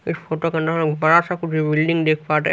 इस फोटो का नाम बड़ा सा बिल्डिंग देख